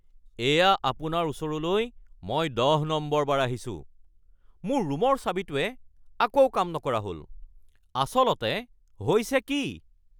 এয়া আপোনাৰ ওচৰলৈ মই দহ নম্বৰবাৰ আহিছোঁ। মোৰ ৰুমৰ চাবিটোৱে আকৌ কাম নকৰা হ'ল। আচলতে হৈছে কি? (আলহী)